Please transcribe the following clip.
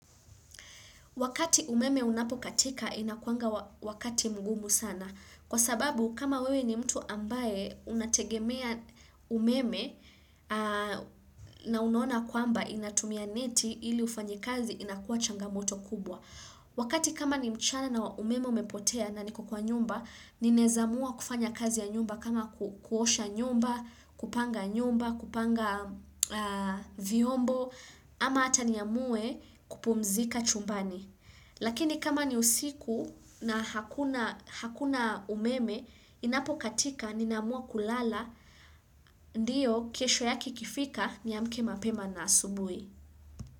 Wakati umeme unapokatika inakuanga wakati mgumu sana. Kwa sababu kama wewe ni mtu ambaye unategemea umeme na unaona kwamba inatumia neti ili ufanye kazi inakuwa changamoto kubwa. Wakati kama ni mchana na umeme umepotea na niko kwa nyumba, ninaeza amua kufanya kazi ya nyumba kama kuosha nyumba, kupanga nyumba, kupanga viombo, ama hata niamue kupumzika chumbani. Lakini kama ni usiku na hakuna umeme, inapo katika nina amua kulala, ndio kesho yake ikifika niamke mapema na asubui.